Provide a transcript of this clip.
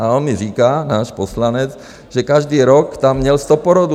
A on mi říká, náš poslanec, že každý rok tam měl 100 porodů.